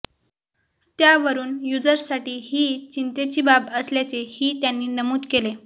त्यावरून युजर्ससाठी ही चिंतेची बाब असल्याचे ही त्यांनी नमूद केले